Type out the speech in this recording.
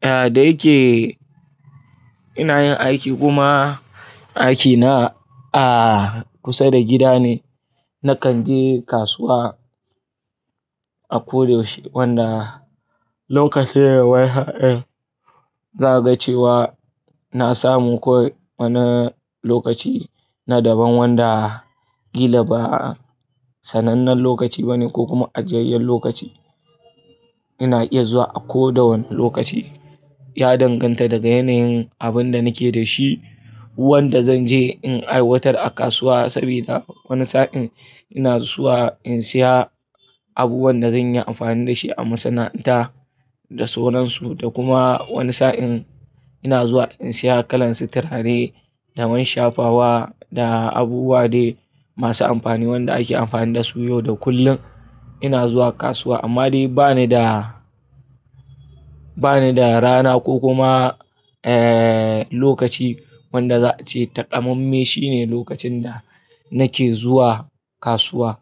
Eh, da yake ina yin aiki kuma aiki na a kusa da gida ne, na kan je kasuwa a ko daushe wanda lokacin waya, za a ga cewa na samu koi wane lokaci na daban wanda kila ba sanannen lokaci bane ko kuma ajiyayyen lokaci. Ina iya zuwa a ko da wane lokaci, ya danganta daga yanayin abin da nake da shi wanda zan je in aiwatar a kasuwa saboda wani sa'in ina zuwa in saya abubuwan da zan yi amfani da shi a masana'anta da sauransu da kuma wani sa'in ina zuwa in saya kalan sitaraye da man shafawa da abubuwa dai masu amfani wanda ake amfani dasu yau da kullum. Ina zuwa kasuwa amma dai bani da, bani da rana ko kuma, lokaci wanda za a ce takamamme shine lokacin da nake zuwa kasuwa.